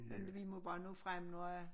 Men vi må bare nå frem når øh